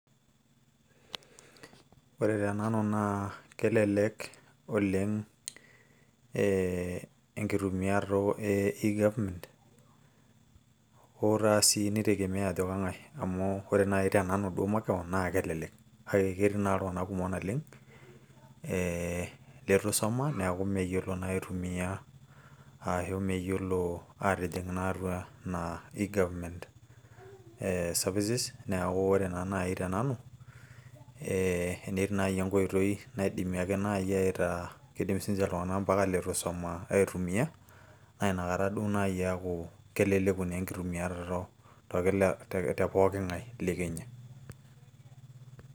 ore tenanu naa kelelek oleng' enkitumiato e egovernment ,hoo sii naa kitegemea ajo kengae .amu ore naaji tenanu makewon, naa kelelek. kake ketii naa iltunganak kumok naleng' letusuma neeku meyiolo naa aitumia, aatijing naa atua ena e egovernment services ,neeku ore naa naaji te nanu, ee ketii naa naaji enkoitoi naa kidim naa mpaka leitu isuma, aitumia naa inakata naaji eeku, keleleku naa enkitumiarato te pooki ng'ae.